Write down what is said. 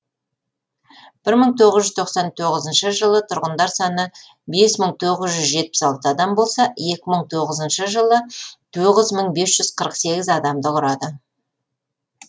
бір мың тоғыз жүз тоқсан тоғызыншы жылы тұрғындар саны бес мың тоғыз жүз жетпіс алты адам болса екі мың тоғызыншы жылы тоғыз мың бес жүз қырық сегіз адамды құрады